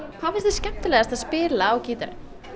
hvað finnst þér skemmtilegast að spila á gítarinn